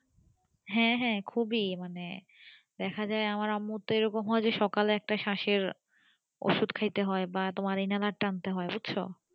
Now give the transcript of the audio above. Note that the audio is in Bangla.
হ্যাঁ হ্যাঁ খুবই মানে দেখা যাই আমার আম্মুর তো এরকম হয় যে সকালে একটা স্বাশ এর ওষুধ খাইতে হয় বা inhaler টানতে হয় বুঝছো